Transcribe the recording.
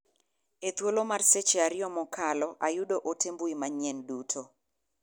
E thulo mar seche ariyo mokalo ayuo ote mbui manyien duto.